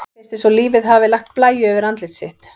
Mér finnst eins og lífið hafi lagt blæju yfir andlit sitt.